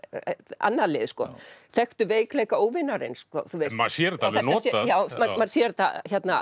annað lið þekktu veikleika óvinarins maður sér þetta alveg notað maður sér þetta